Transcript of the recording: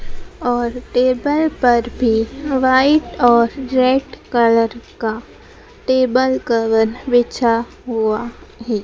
और टेबल पर भी वाइट और रेड कलर का टेबल कवर बिछा हुआ है।